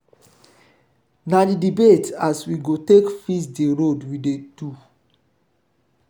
na di debate as we go take fix di road we dey do.